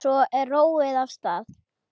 Svo er róið af stað.